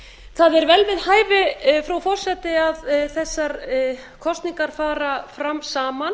það er vel við hæfi frú forseti að þessar kosningar fari fram saman